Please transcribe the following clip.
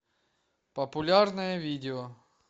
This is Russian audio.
популярное видео